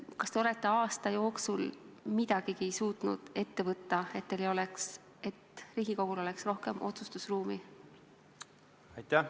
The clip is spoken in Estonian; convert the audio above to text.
Kas te olete aasta jooksul midagigi suutnud ette võtta, et Riigikogul oleks rohkem otsustusruumi?